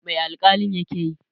Mai alƙalin ya ke yi?